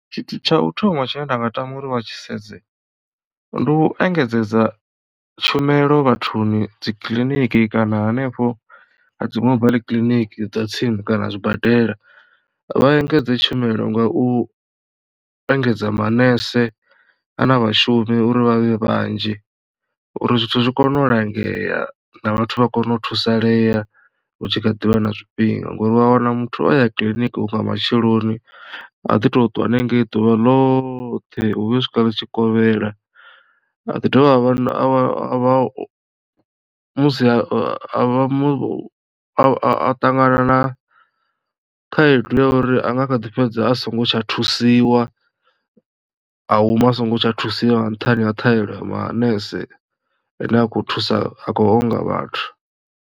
Tshithu tsha u thoma tshine nda nga tama uri vha tshi sedze ndi u engedzedza tshumelo vhathuni dzi kiḽiniki kana hanefho a dzi mobile kiḽiniki dza tsini kana zwibadela. Vha engedze tshumelo nga u u engedza manese kana vhashumi uri vhavhe vhanzhi uri zwithu zwi kone u langea na vhathu vha kone u thusalea hu tshi kha ḓivha na zwifhinga ngori u a wana muthu o ya kiḽiniki hu nga matsheloni a ḓi to twa hanengei ḓuvha ḽoṱhe u vhuya u swika ḽitshikovhela a ḓi dovha a musi a vha a ṱangana na khaedu ya uri anga kha ḓi fhedza a songo tsha thusiwa ahuma a songo tsha thusiwa nga nṱhani ha ṱhahelo ya manese ane a khou thusa a khou onga vhathu.